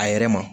A yɛrɛ ma